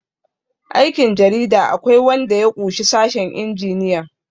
aikin jarida akwai wanda ya ƙushi sashen injiniyan